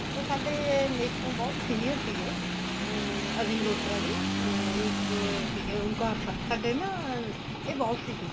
ਉਹ ਸਾਡੇ ਮੇਰੇ ਤੋਂ ਬਹੁਤ senior ਸੀਗੇ ਅਹ ਅਜੇ ਮਲਹੋਤਰਾ ਜੀ ਅਹ ਇੱਕ ਸੀਗੇ ਉਂਕਾਰ sir ਸਾਡੇ ਨਾ ਇਹ boss ਸੀਗੇ